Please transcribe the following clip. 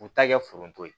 U ta kɛ foro to ye